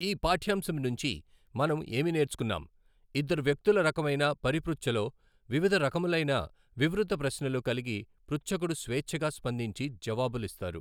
ఈ పాఠ్యాంశం నుంచి మనం ఏమి నేర్చుకున్నాం, ఇద్దరు వ్యక్తుల రకమైన పరిపృచ్ఛలో వివిధ రకములైన వివృత ప్రశ్నలు కలిగి పృచ్ఛకుడు స్వేచ్ఛగా స్పందించి జవాబులిస్తారు.